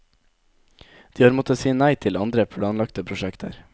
De har måttet si nei til andre, planlagte prosjekter.